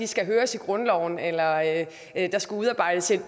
skal høres i grundloven eller at der skal udarbejdes et